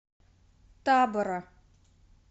табора